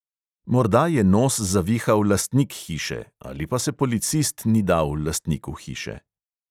Morda je nos zavihal lastnik hiše ali pa se policist ni dal lastniku hiše ...